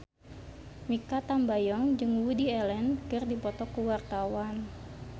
Mikha Tambayong jeung Woody Allen keur dipoto ku wartawan